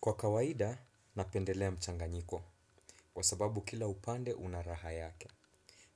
Kwa kawaida, napendelea mchanganyiko kwa sababu kila upande una raha yake.